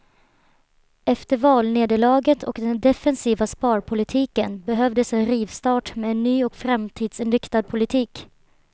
Efter valnederlaget och den defensiva sparpolitiken behövdes en rivstart med en ny och framtidsinriktad politik.